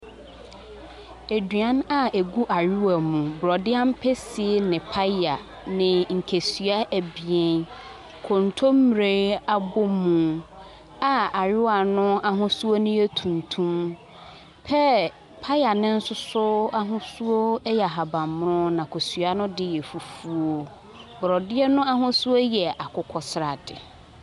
Eduan a ɛgu ayewa mu. Borɔde ampesie ne paya ne nkesia abien. Kontommire abomu a ayewa no ahosuo no yɛ tuntun. Pear paya no nso so ahusuo yɛ ahaban mono, na kosuo no de yɛ fufuo. Borɔdeɛ no ahosuo yɛ akokɔ sradeɛ.